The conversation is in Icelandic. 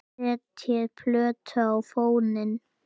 Setjið plötu á fóninn.